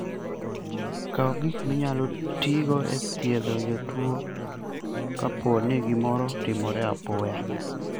Kaw gik minyalo tigo e thiedho jatuo kapo ni gimoro otimore apoya.